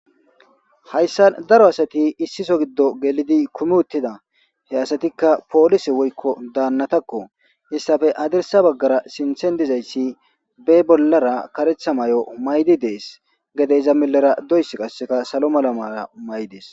hayssa daro asati issiso giddo gelidi kumi uttida he asatikka poolise woykko daannatakko issafe adirsa baggara sinthen dizayssi be bollara karetha may7o maydi dees gede iza milera doys qasseka salo mala mara may dees